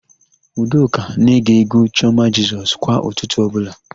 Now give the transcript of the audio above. Udoka na-ege égwú Chiọma Jisọs kwa ụtụtụ ọbụla.